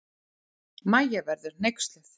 Mæja verður hneyksluð.